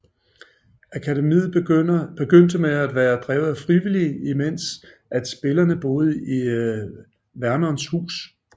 Akademiet begyndte med at være drevet af frivillige imens at spillerne boede i Vernons hus